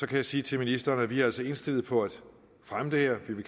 kan jeg sige til ministeren at vi altså er indstillet på at fremme det her og